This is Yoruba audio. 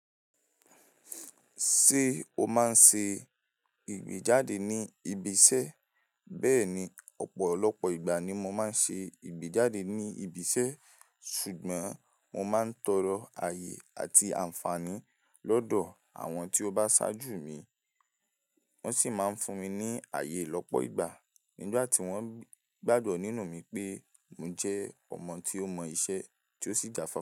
Ṣé o máa ń ṣe ìgbéjáde ní ibi iṣẹ́? Bẹ́ẹ̀ni, ọ̀pọ̀lọpọ̀ ìgbà ni mo máa ń ṣe ìgbéjáde ní ibi iṣẹ́, ṣùgbọ́n mo máa ń tọrọ ààyè àti àǹfààní lọ́dọ̀ àwọn tí ó bá ṣáájú mi. Wọ́n sì máa ń fún mi ní ààyè lọ́pọ̀ ìgbà nígbà tí wọ́n gbágbí nínú mi pé mo jẹ́ ọmọ tí ó mọ iṣẹ́ tí ó sì jáfáfá.